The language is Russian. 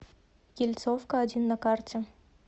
ельцовка один на карте